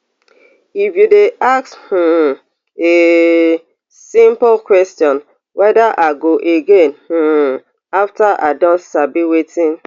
if you dey ask um a simple question weda i go again um afta i don sabi wetin